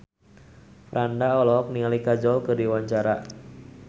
Franda olohok ningali Kajol keur diwawancara